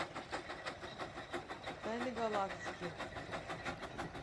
тайны галактики